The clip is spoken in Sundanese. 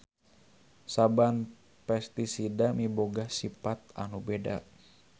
Saban pestisida miboga sipat anu beda.